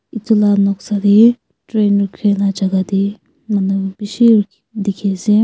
edu la noksa tae train rukhila jaka tae manu bishi dikhiase.